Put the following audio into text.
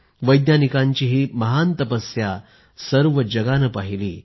वैज्ञानिकांची ही महान तपस्या सर्व जगानं पाहिली